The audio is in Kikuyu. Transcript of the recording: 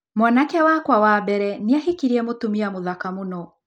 Mwanake wakwa wa mbere nĩ aahikirie mũtumia mũthaka mũno.